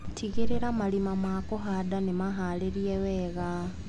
Tigĩrĩra marima ma kũhanda nĩmaharĩrie wega.